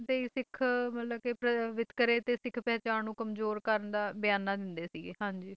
ਇਨ੍ਹਾਂ ਦੀ ਸ਼ਿਕਾਇਤਾਂ ਤੇ ਹੀ ਸਿੱਖ ਮਤਲਬ ਕਿ ਵਿਤਕਰੇ ਤੇ ਸਿੱਖ ਪਹਿਚਾਣ ਨੂੰ ਕਮਜ਼ੋਰ ਕਰਨ ਦਾ ਬਿਆਨ ਦਿੰਦੇ ਸੀਗੇ ਹਾਂ ਜੀ